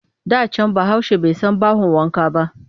Da can Bahaushe bai san bahon wanka ba